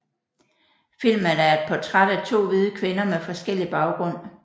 Filmen er et portræt af to hvide kvinder med forskellig baggrund